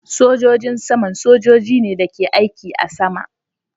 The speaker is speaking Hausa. Sogojin saman sojojin ne da ke aiki a sama